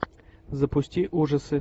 запусти ужасы